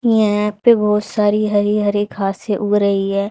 यहाँ पे बहोत सारी हरी-हरी घासे उग रही है।